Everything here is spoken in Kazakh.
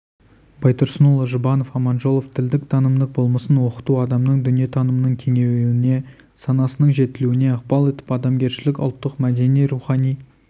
байтұрсынұлы жұбанов аманжолов тілдің танымдық болмысын оқыту адамның дүниетанымының кеңеюіне санасының жетілуіне ықпал етіп адамгершілік ұлттық мәдени-рухани